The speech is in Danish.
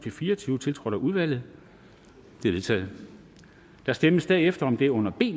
fire og tyve tiltrådt af udvalget de er vedtaget der stemmes derefter om det under b